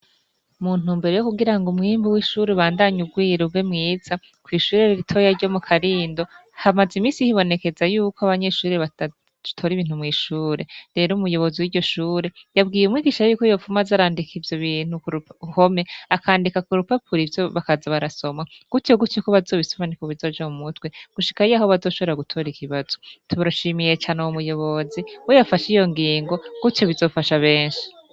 Muntu mbere yo kugira ngo umwimbu w'ishure ubandanye ugwira ube mwiza kw'ishure riritoya ryo mu karindo hamaze imisi hibonekeza yuko abanyeshurire batore ibintu mw'ishure rero umuyobozi w'iryo shure yabwiye umw igishara yuko yopfuma azarandika ivyo bintu k uhome akandika ku rupapuro ivyo bakaza barasoma guti yo guta yuko bazobisomanea bizoja mu mutwe gushika iye aho bazoshobora gutora ikibazo tubaroshimiye cane uwu muyobozi weyafasha iyo ngingo gutyo bizofasha benshi.